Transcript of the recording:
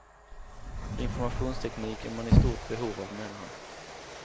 Informationsteknik är man i stort behov av, menar han.